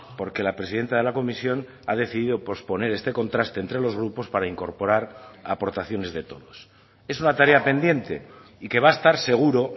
porque la presidenta de la comisión ha decidido posponer este contraste entre los grupos para incorporar aportaciones de todos es una tarea pendiente y que va a estar seguro